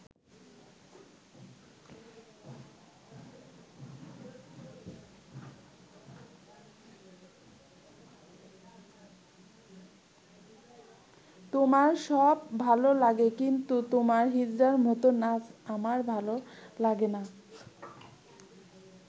তোমার সব ভালো লাগে, কিন্তু তোমার হিজড়ার মতো নাচ আমার ভালো লাগে না'।